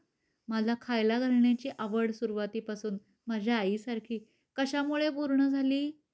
मला खायला घालण्याची आवड सुरुवातीपासून माझ्या आई सारखी, कशा मुळे पूर्ण झाली?